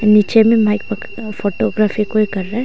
नीचे में फोटोग्राफी कोई कर रहा है।